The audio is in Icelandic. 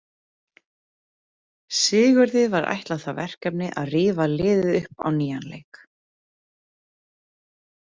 Sigurði var ætlað það verkefni að rífa liðið upp á nýjan leik.